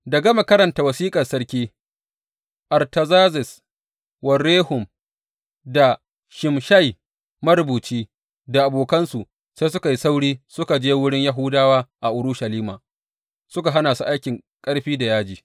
Da gama karanta wasiƙar sarki Artazerzes wa Rehum da Shimshai marubuci, da abokansu, sai suka yi sauri suka je wurin Yahudawa a Urushalima, suka hana su aikin ƙarfi da yaji.